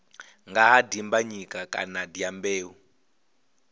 nga ha dimbanyika kana dyambeu